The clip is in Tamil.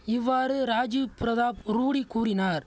இவ்வாறு ராஜீவ் பிரதாப் ரூடி கூறினார்